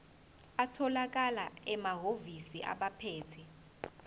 atholakala emahhovisi abaphethe